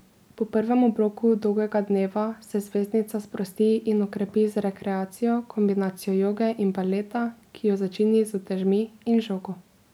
Po prvem obroku dolgega dneva se zvezdnica sprosti in okrepi z rekreacijo, kombinacijo joge in baleta, ki jo začini z utežmi in žogo.